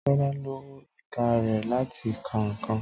Tọ́lá lo ìka rẹ̀ láti ka ǹkan